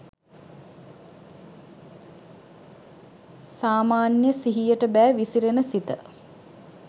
සාමාන්‍ය සිහියට බෑ විසිරෙන සිත